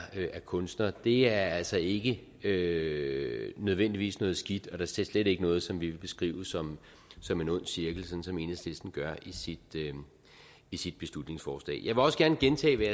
kunstner er altså ikke ikke nødvendigvis noget skidt og da slet ikke noget som vi vil beskrive som som en ond cirkel sådan som enhedslisten gør i sit beslutningsforslag jeg vil også gerne gentage hvad